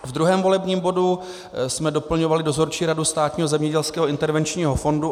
Ve druhém volebním bodu jsme doplňovali Dozorčí radu Státního zemědělského intervenčního fondu.